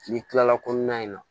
N'i kilala kɔnɔna in na